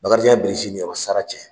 Bakarijan ye bilisi nin yɔrɔ sara cɛ.